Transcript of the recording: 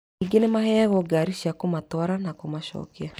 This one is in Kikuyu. Ningĩ nĩmaheyagwo ngari cia kũmatwara na kũmacokia